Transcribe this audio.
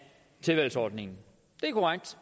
tilvalgsordningen det er korrekt